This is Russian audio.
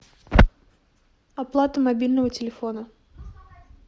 оплата мобильного телефона